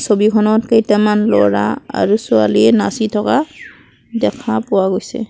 ছবিখনত কেইটামান ল'ৰা আৰু ছোৱালীয়ে নাচি থকা দেখা পোৱা গৈছে।